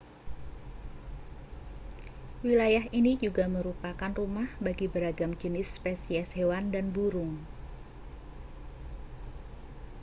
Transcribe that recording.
wilayah ini juga merupakan rumah bagi beragam jenis spesies hewan dan burung